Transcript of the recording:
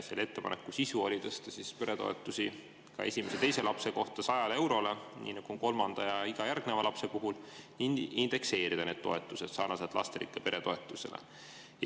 Selle ettepaneku sisu oli tõsta peretoetused ka esimese ja teise lapse puhul 100 eurole, nagu on kolmanda ja iga järgneva lapse puhul, ja indekseerida need toetused sarnaselt lasterikka pere toetusega.